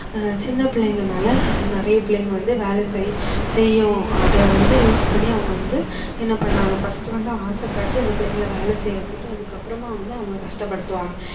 ஆஹ் சின்ன பிள்ளைங்கனால நிறைய பிள்ளைங்க வந்து வேலை செய்~ செய்யும் அதை வந்து use பண்ணி அவங்க வந்து என்ன பண்ணாங்க first வந்து ஆசை காட்டி அந்த பிள்ளைங்களை வேலை செய்ய வச்சுட்டு அது அப்புறமா வந்து அவங்க கஷ்டப்படுத்துவாங்க